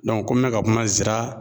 ko mɛ ka kuma zira